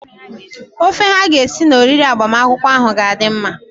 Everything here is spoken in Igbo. Ofe ha ga-esi na oriri agbamakwụkwọ ahụ ga-adị mma.